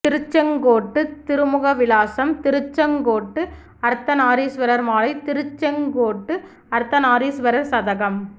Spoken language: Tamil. திருச்செங்கோட்டு திருமுக விலாசம் திருச்செங்கோட்டு அர்த்தநாரீஸ்வரர் மாலை திருச்செங்கோட்டு அர்த்தநாரீஸ்வரர் சதகம்